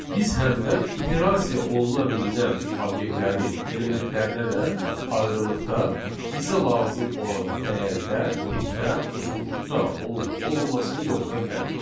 Biz həm də iterasiya oluna bilinən obyektlərin elementlərinə də ayrıqda bizə lazım olan dəyərdə, tipdə, uzunluqda olub-olmaması yoxlaya bilərik.